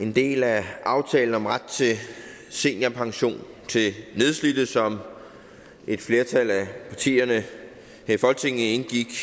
en del af aftalen om ret til seniorpension til nedslidte som et flertal af partierne her i folketinget indgik